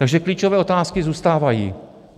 Takže klíčové otázky zůstávají.